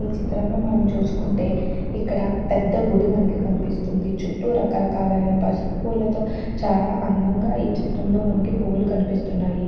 ఈచిత్రంలో మనం చూసుకుంటే ఇక్కడ పెద్ద గుడి మనకి కనిపిస్తుందిచుట్టూ రకరకాలైన పసుపు పూలతో చాలా అందంగా ఈచిత్రంలో మనకి పువ్వులు కనిపిస్తున్నాయి.